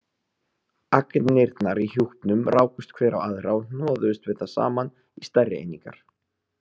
Agnirnar í hjúpnum rákust hver á aðra og hnoðuðust við það saman í stærri einingar.